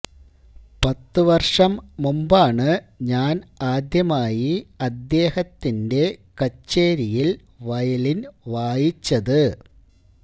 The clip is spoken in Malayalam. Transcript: പത്തു വര്ഷം മുമ്പാണ് ഞാന് ആദ്യമായി അദ്ദേഹത്തിന്െറ കച്ചേരിയില് വയലിന് വായിച്ചത്